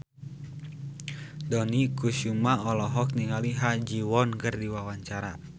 Dony Kesuma olohok ningali Ha Ji Won keur diwawancara